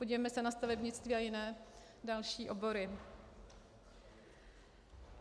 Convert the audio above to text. Podívejme se na stavebnictví a jiné další obory.